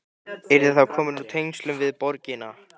Yrðir þá komin úr tengslum við borgina.